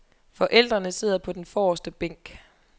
Forældrene sidder på den forreste bænk.